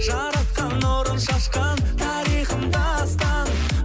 жаратқан нұрын шашқан тарихым дастан